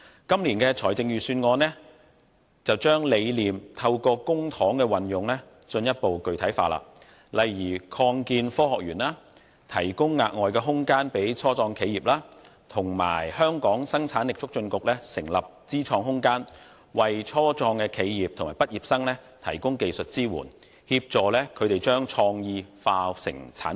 今年的財政預算案則將理念透過公帑的運用進一步具體化，例如擴建科學園，提供額外空間予初創企業，以及香港生產力促進局成立知創空間，為初創企業和畢業生提供技術支援，協助他們將創意轉化成產品。